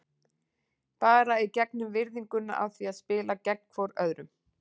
Bara í gegnum virðinguna af því að spila gegn hvorum öðrum.